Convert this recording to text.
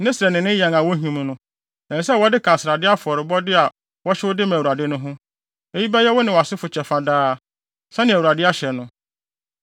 Ne srɛ ne ne yan a wohim no, ɛsɛ sɛ wɔde ka srade afɔrebɔde a wɔhyew de ma Awurade no ho. Eyi bɛyɛ wo ne wʼasefo kyɛfa daa, sɛnea Awurade ahyɛ no.”